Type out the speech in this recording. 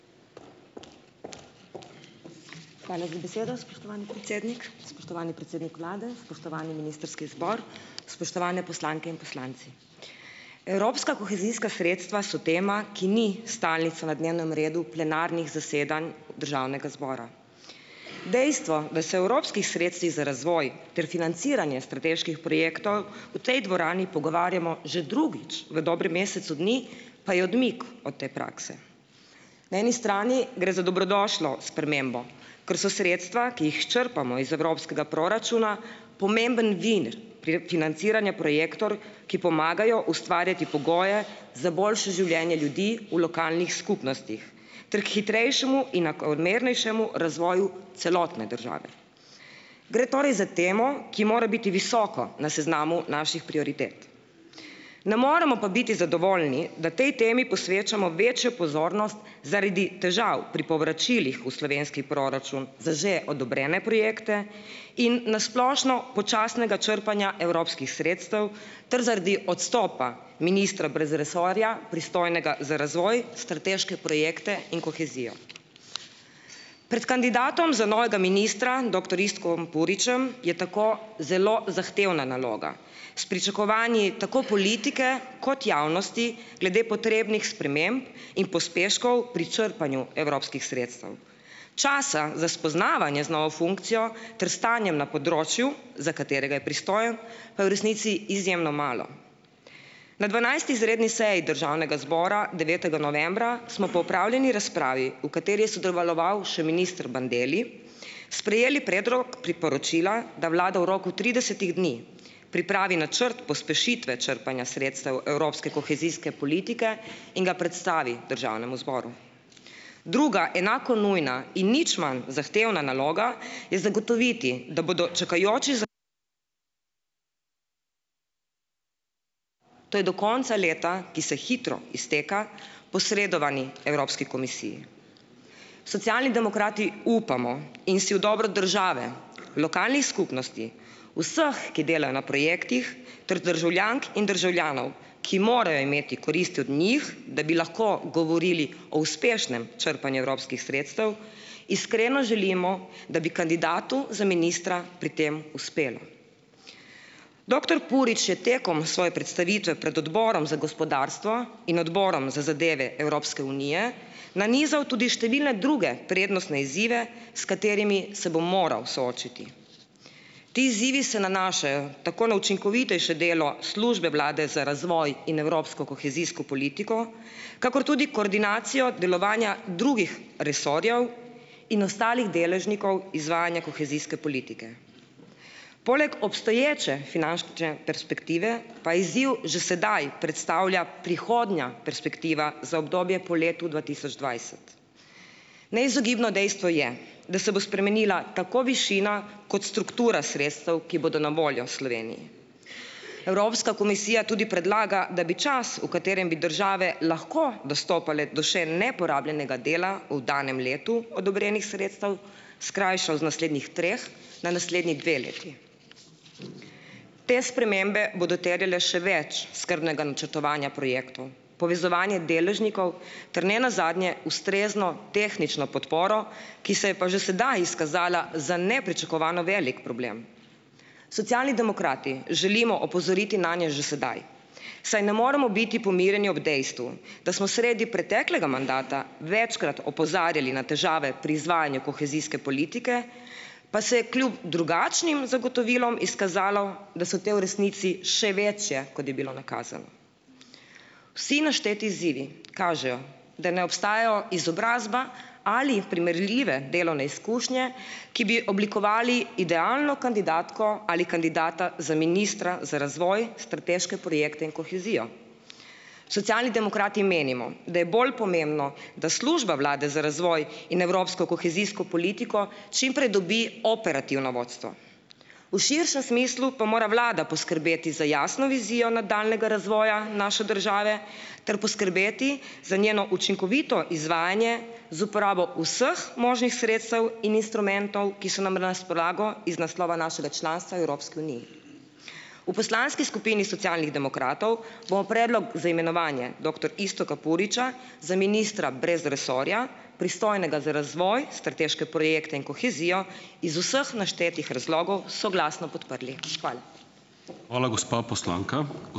Hvala za besedo, spoštovani predsednik. Spoštovani predsednik vlade, spoštovani ministrski zbor, spoštovane poslanke in poslanci! Evropska kohezijska sredstva so tema, ki ni stalnica na dnevnem redu plenarnih zasedanj državnega zbora. Dejstvo, da se o evropskih sredstvih za razvoj ter financiranje strateških projektov v tej dvorani pogovarjamo že drugič v dobrem mesecu dni, pa je odmik od te prakse. Na eni strani gre za dobrodošlo spremembo, ker so sredstva, ki jih črpamo iz evropskega proračuna, pomemben vir pri, financiranja projektov, ki pomagajo ustvarjati pogoje za boljše življenje ljudi v lokalnih skupnostih ter k hitrejšemu in enakomernejšemu razvoju celotne države. Gre torej za temo, ki mora biti visoko na seznamu naših prioritet. Ne moremo pa biti zadovoljni, da tej temi posvečamo večjo pozornost zaradi težav pri povračilih v slovenski proračun za že odobrene projekte in na splošno počasnega črpanja evropskih sredstev ter zaradi odstopa ministra brez resorja, pristojnega za razvoj, strateške projekte in kohezijo. Pred kandidatom za novega ministra, doktor Iztokom Puričem je tako zelo zahtevna naloga, s pričakovanji tako politike kot javnosti glede potrebnih sprememb in pospeškov pri črpanju evropskih sredstev. Časa za spoznavanje z novo funkcijo ter stanjem na področju, za katerega je pristojen, pa je v resnici izjemno malo. Na dvanajsti izredni seji državnega zbora, devetega novembra, smo po opravljeni razpravi, v kateri je sodeloval še minister Bandelli, sprejeli predlog priporočila, da vlada v roku tridesetih dni pripravi načrt pospešitve črpanja sredstev evropske kohezijske politike in ga predstavi državnemu zboru. Druga, enako nujna in nič manj zahtevna naloga je zagotoviti, da bodo čakajoči z, to je do konca leta, ki se hitro izteka, posredovani Evropski komisiji. Socialni demokrati upamo in si v dobro države, lokalnih skupnosti, vseh, ki delajo na projektih, ter državljank in državljanov, ki morajo imeti koristi od njih, da bi lahko govorili o uspešnem črpanju evropskih sredstev, iskreno želimo, da bi kandidatu za ministra pri tem uspelo. Doktor Purič je tekom svoje predstavitve pred odborom za gospodarstvo in odborom za zadeve Evropske unije nanizal tudi številne druge prednostne izzive, s katerimi se bo moral soočiti. Ti izzivi se nanašajo tako na učinkovitejše delo Službe Vlade za razvoj in evropsko kohezijsko politiko kakor tudi koordinacijo delovanja drugih resorjev in ostalih deležnikov izvajanja kohezijske politike. Poleg obstoječe finančne perspektive pa izziv že sedaj predstavlja prihodnja perspektiva za obdobje po letu dva tisoč dvajset. Neizogibno dejstvo je, da se bo spremenila tako višina kot struktura sredstev, ki bodo na voljo Sloveniji. Evropska komisija tudi predlaga, da bi čas, v katerem bi države lahko dostopale do še neporabljenega dela v danem letu odobrenih sredstev, skrajšal z naslednjih treh na naslednji dve leti. Te spremembe bodo terjale še več skrbnega načrtovanja projektov, povezovanje deležnikov ter ne nazadnje ustrezno tehnično podporo, ki se je pa že sedaj izkazala za nepričakovano velik problem. Socialni demokrati želimo opozoriti nanje že sedaj, saj ne moremo biti pomirjeni ob dejstvu, da smo sredi preteklega mandata večkrat opozarjali na težave pri izvajanju kohezijske politike, pa se je kljub drugačnim zagotovilom izkazalo, da so te v resnici še večje, kot je bilo nakazano. Vsi našteti izzivi kažejo, da ne obstajajo izobrazba ali primerljive delovne izkušnje, ki bi oblikovali idealno kandidatko ali kandidata za ministra za razvoj, strateške projekte in kohezijo. Socialni demokrati menimo, da je bolj pomembno, da Služba vlade za razvoj in evropsko kohezijsko politiko čim prej dobi operativno vodstvo. V širšem smislu pa mora vlada poskrbeti za jasno vizijo nadaljnjega razvoja naše države ter poskrbeti za njeno učinkovito izvajanje z uporabo vseh možnih sredstev in instrumentov, ki so nam razpolago iz naslova našega članstva v Evropski uniji. V poslanski skupini Socialnih demokratov bomo predlog za imenovanje doktor Iztoka Puriča za ministra brez resorja, pristojnega za razvoj, strateške projekte in kohezijo, iz vseh naštetih razlogov soglasno podprli. Hvala.